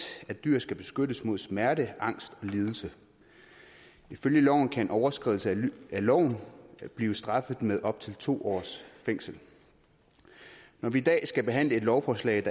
at dyr skal beskyttes mod smerte angst og lidelse ifølge loven kan en overskridelse af loven blive straffet med op til to års fængsel når vi i dag skal behandle et lovforslag